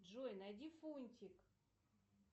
джой найди фунтик